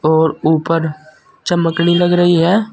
और ऊपर चमकनी लग रही है।